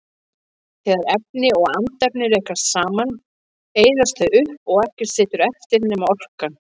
Þegar efni og andefni rekast saman eyðast þau upp og ekkert situr eftir nema orkan.